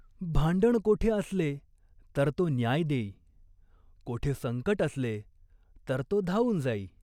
भांडण कोठे असले तर तो न्याय देई, कोठे संकट असले तर तो धावून जाई.